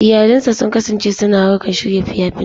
Iyalinsa sun kasance suna harkar shirya fina-finai.